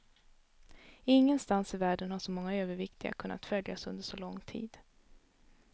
Ingenstans i världen har så många överviktiga kunnat följas under så lång tid.